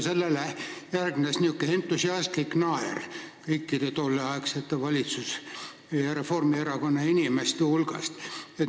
Sellele järgnes niisugune entusiastlik naer kõikide tolleaegsete valitsusinimeste, Reformierakonna inimeste hulgas.